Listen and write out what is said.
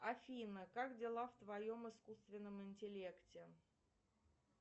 афина как дела в твоем искусственном интеллекте